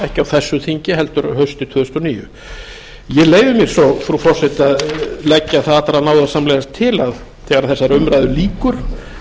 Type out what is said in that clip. ekki á þessu þingi heldur haustið tvö þúsund og níu ég leyfi mér svo frú forseti að leggja það allra náðarsamlegast til að þegar þessari umræðu lýkur þá verði